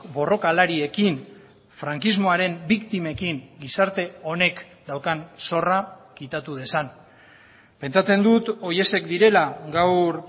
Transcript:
borrokalariekin frankismoaren biktimekin gizarte honek daukan zorra kitatu dezan pentsatzen dut horiek direla gaur